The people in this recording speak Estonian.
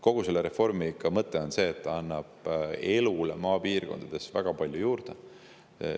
Kogu reformi mõte on see, et ta annab elule maapiirkondades väga palju juurde.